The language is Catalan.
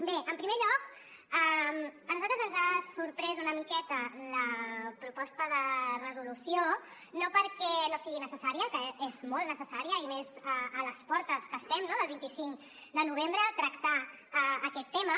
bé en primer lloc a nosaltres ens ha sorprès una miqueta la proposta de resolució no perquè no sigui necessària que és molt necessària i més a les portes que estem no del vint cinc de novembre tractar aquest tema